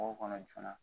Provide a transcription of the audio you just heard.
Mɔgɔw kɔnɔ joona